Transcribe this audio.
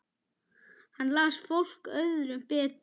Hann las fólk öðrum betur.